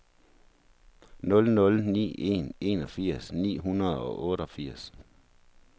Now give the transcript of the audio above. nul nul ni en enogfirs ni hundrede og otteogfirs